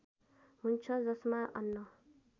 हुन्छ जसमा अन्न